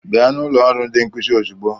Bịa na ụlọ ọrụ ndi nkuzi ozugbo!